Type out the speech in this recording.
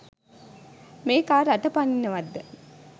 මේකා රට පනින්නවත්ද?